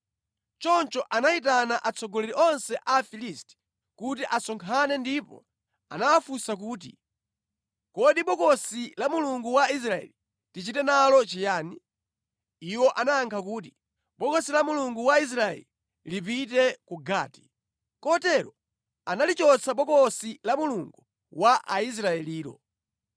Choncho anayitana atsogoleri onse a Afilisti kuti asonkhane ndipo anawafunsa kuti, “Kodi Bokosi la Mulungu wa Israeli tichite nalo chiyani?” Iwo anayankha kuti, “Bokosi la Mulungu wa Israeli lipite ku Gati.” Kotero analichotsa Bokosi la Mulungu wa Israelilo.